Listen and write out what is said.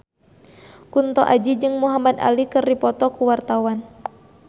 Kunto Aji jeung Muhamad Ali keur dipoto ku wartawan